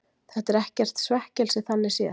Þetta er ekkert svekkelsi þannig séð.